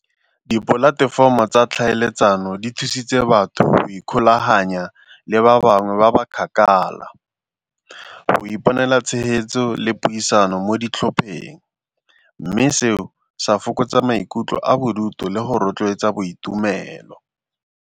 Dipolatefomo tsa tlhaeletsano di thusitse batho ikgolaganya le ba bangwe ba ba kgakala, go iponela tshegetso le puisano mo ditlhopheng mme seo sa fokotsa maikutlo a bodutu le go rotloetsa boitumelo.